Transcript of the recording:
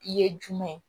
I ye jumɛn